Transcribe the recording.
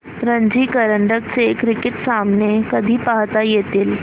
रणजी करंडक चे क्रिकेट सामने कधी पाहता येतील